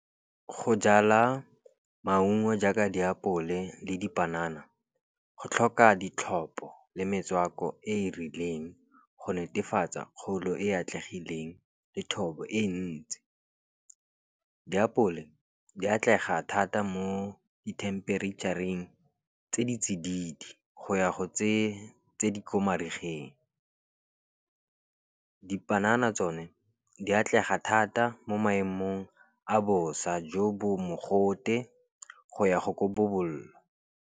Go jala maungo jaaka diapole le dipanana, go tlhoka ditlhopho le metswako e e rileng go netefatsa kgolo e e atlegileng le thobo e ntsi. Diapole di atlega thata mo dithempereitšhareng tse di tsididi go ya go tse di ko marigeng. Dipanana tsone di atlega thata mo maemong a bosa, jo bo mogote go ya go .